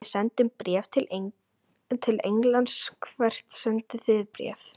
Við sendum bréf til Englands. Hvert sendið þið bréf?